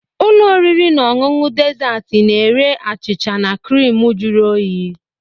Ụlọ oriri na ọṅụṅụ dezaatị na-ere achịcha na crịmu jụrụ oyi.